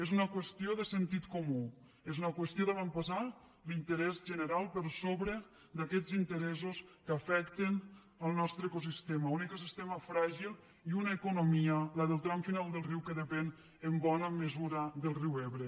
és una qüestió de sentit comú és una qüestió d’avantposar l’interès general per sobre d’aquests interessos que afecten el nostre ecosistema un ecosistema fràgil i una economia la del tram final del riu que depèn en bona mesura del riu ebre